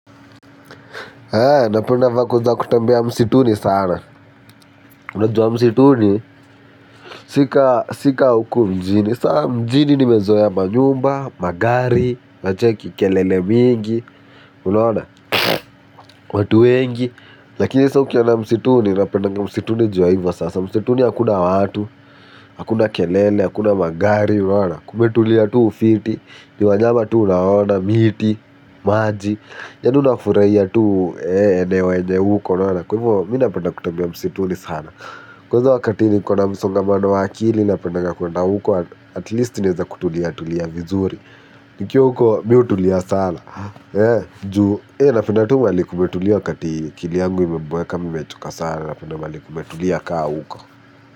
Napenda vako za kutembea msituni sana. Unajua msituni. Si ka huku mjini. Sa mjini nimezoea manyumba, magari unacheki kelele mingi. Unaona watu wengi. Lakini sa ukiwaona msituni. Na penda msituni juu ya hivo sasa. Msituni hakuna watu. Hakuna kelele, hakuna magari. Kumetulia tu ufiti. Ni wanyama tu unaona, miti. Maji yawni unafurahia tu eneo enye uko unaonan kwa hivyo mimi napenda kutembea msituni sana. Kwanza wakati niko na msongamano wa kili napendanga kuenda huko atleast naweza kutulia tulia vizuri. Nikiw uko miutulia sana. Njuu napenda tuu malikumetulia wakati kili angu imebweka mimechuka sana napenda malikumetulia kaa uko.